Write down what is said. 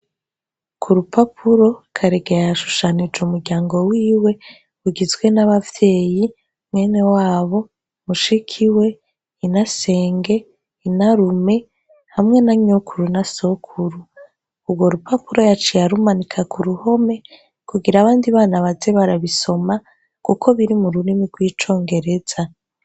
Kurupapuro karege yashushanije umuryango wiwe ugizwe nabavyeyi mwenewabo mushikiwe inasenge inarume hamwe na nyokuru na sokuru ugorupapuro yaciye arumanika kuruhome kugira abandi bana baze barabisoma kuko biri mururimi rwicongereza